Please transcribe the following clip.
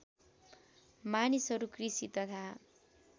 मानिसहरू कृषि तथा